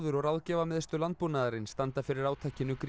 og Ráðgjafarmiðstöð landbúnaðarins standa fyrir átakinu